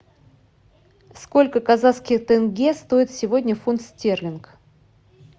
сколько казахских тенге стоит сегодня фунт стерлингов